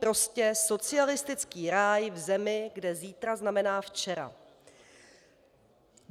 Prostě socialistický ráj v zemi, kde zítra znamená včera.